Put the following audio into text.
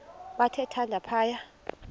bathe thande phaya